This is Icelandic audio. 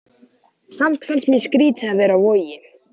Samt fannst mér skrýtið að vera á Vogi.